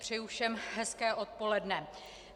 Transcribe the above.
Přeji všem hezké odpoledne.